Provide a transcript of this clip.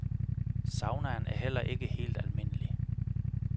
Saunaen er heller ikke helt almindelig.